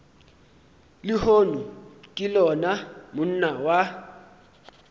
lehono ke lona monna wa